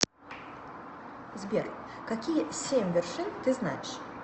сбер какие семь вершин ты знаешь